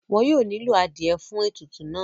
wọn yóò nílò adìẹ fún ètùtù náà